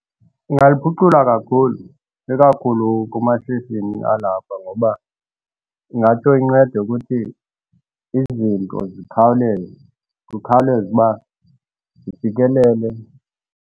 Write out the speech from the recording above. Ingaliphucula kakhulu ikakhulu kumashishini alapha ngoba ingatsho incede ukuthi izinto zikhawuleze. Kukhawuleze uba zifikelele.